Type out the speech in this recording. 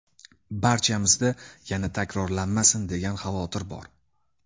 Barchamizda ‘yana takrorlanmasin’ degan xavotir bor.